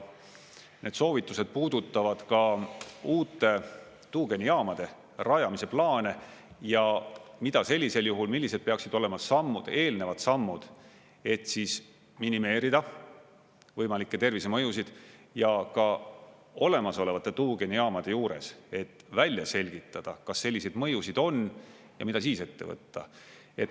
Need soovitused puudutavad ka uute tuugenijaamade rajamise plaane ja mida sellisel juhul, millised peaksid olema sammud, eelnevad sammud, et siis minimeerida võimalikke tervisemõjusid, ja ka olemasolevate tuugenijaamade juures, et välja selgitada, kas selliseid mõjusid on ja mida siis ette võtta.